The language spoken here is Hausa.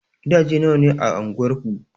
Gidaje nawa ne a anguwar ku?